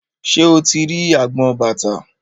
Ṣé o ti rí agbọn bàtà?